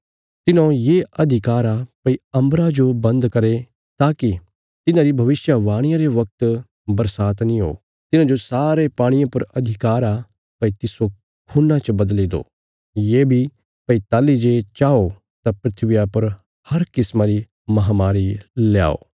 तिन्हौं ये अधिकार आ भई अम्बरा जो बन्द करे ताकि तिन्हांरी भविष्यवाणिया रे वगत बरसात नीं हो तिन्हांजो सारे पाणिये पर अधिकार आ भई तिस्सो खून्ना च बदली दो ये बी भई ताहली जे चाओ तां धरतिया पर हर किस्मा री महामारी ल्याओ